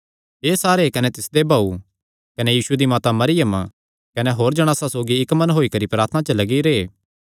एह़ सारे कने तिसदे भाऊ कने यीशु दी माता मरियम कने होर जणासां सौगी इक्क मन होई करी प्रार्थना च लग्गी रैह्